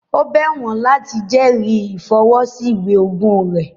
Ó bẹ̀ wọ́n láti jẹrìí ìfọwọ́ sí ìwé ogún rẹ̀